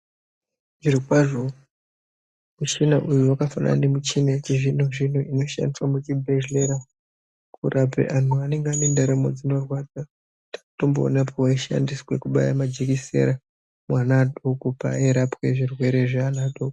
Zviro kwazvo michina uwu yakafanana nemuchina wechizvino zvino inoshandiswa muchibhedhlera kurape anhu anenge ane ndaramo dzinorwadza takatomboona pawayishandisw kubaya majikisera mwana adoko paairapwe zvirwere zvevana vadoko.